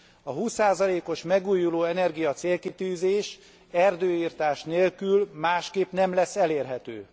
A 20 os megújuló energia célkitűzés, erdőirtás nélkül, másképp nem lesz elérhető.